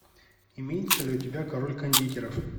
имеется ли у тебя король кондитеров